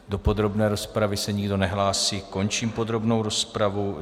Do podrobné rozpravy se nikdo nehlásí, končím podrobnou rozpravu.